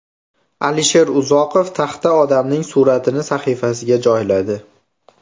Alisher Uzoqov taxta odamning suratini sahifasiga joyladi.